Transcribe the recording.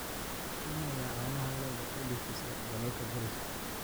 Kenya ayaa caanaha lo'da u dhoofisa dalalka dariska ah.